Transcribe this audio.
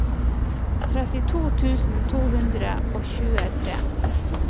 trettito tusen to hundre og tjuetre